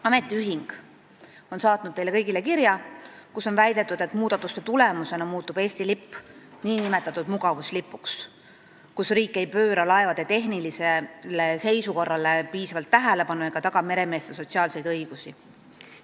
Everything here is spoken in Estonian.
Ametiühing on saatnud teile kõigile kirja, kus on väidetud, et muudatuste tulemusena muutub Eesti lipp nn mugavuslipuks, et riik ei pööra laevade tehnilisele seisukorrale piisavalt tähelepanu ega taga meremeeste sotsiaalseid õigusi.